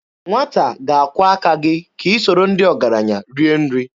Nwata ga-akwọ aka gị ka i soro ndị ọgaranya rie nri.